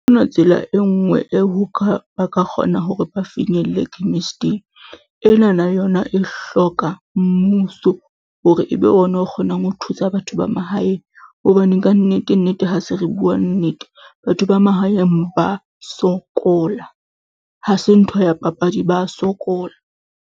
Ha ho na tsela e nngwe eo ba ka kgona ho re ba finyelle chemist-ing, enana yona e hloka mmuso hore ebe ona o kgonang ho thusa batho ba mahaeng hobane ka nnete-nnete, ha se re bua nnete batho ba mahaeng ba sokola ha se ntho ya papadi, ba sokola.